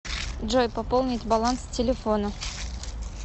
джой пополнить баланс телефона